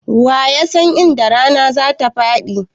Wa ya san inda rana zatafaɗi?